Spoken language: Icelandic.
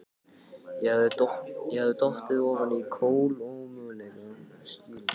Ég hafði dottið ofan á kolómögulega skýringu.